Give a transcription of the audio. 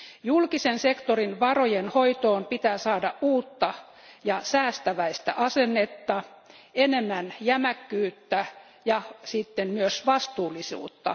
Julkisen sektorin varojen hoitoon pitää saada uutta ja säästäväistä asennetta, enemmän jämäkkyyttä ja sitten myös vastuullisuutta.